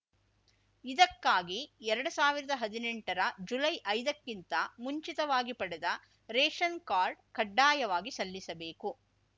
ಇದಕ್ಕಾಗಿ ಎರಡು ಸಾವಿರದ ಹದಿನೆಂಟರ ಜುಲೈಐದಕ್ಕಿಂತ ಮುಂಚಿತವಾಗಿ ಪಡೆದ ರೇಷನ್‌ ಕಾರ್ಡ್‌ ಕಡ್ಡಾಯವಾಗಿ ಸಲ್ಲಿಸಬೇಕು